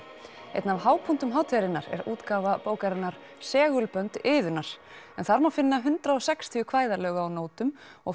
einn af hápunktum hátíðarinnar er útgáfa bókarinnar segulbönd Iðunnar en þar má finna hundrað og sextíu kvæðalög á nótum og